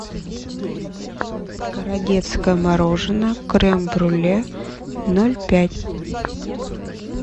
городецкое мороженое крем брюле ноль пять